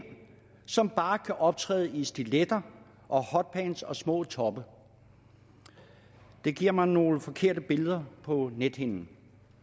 som bare kan optræde i stiletter og hotpants og små toppe det giver mig nogle forkerte billeder på nethinden